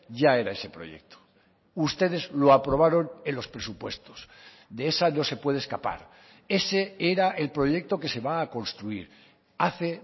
ya era ese proyecto ustedes lo aprobaron en los presupuestos de esa no se puede escapar ese era el proyecto que se va a construir hace